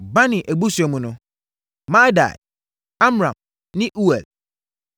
Bani abusua mu no: Maadai, Amram ne Uel,